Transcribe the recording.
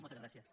moltes gràcies